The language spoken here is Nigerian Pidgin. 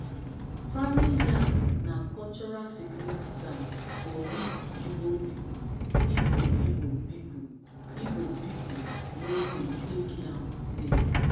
farming yam na cultural significance for we igbo pipo igbo igbo pipo igbo pipo no dey take yam play